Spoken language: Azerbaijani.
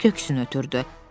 Köksünə ötürdü.